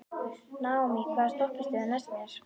Naómí, hvaða stoppistöð er næst mér?